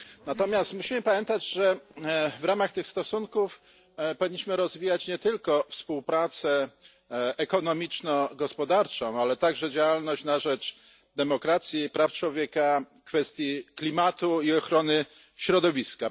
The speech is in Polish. Natomiast musimy pamiętać, że w ramach tych stosunków powinniśmy rozwijać nie tylko współpracę ekonomiczno gospodarczą, ale także działalność na rzecz demokracji i praw człowieka, kwestii klimatu i ochrony środowiska.